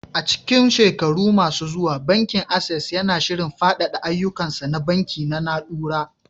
A cikin shekaru masu zuwa, Bankin Access yana shirin faɗaɗa ayyukansa na banki na na'ura.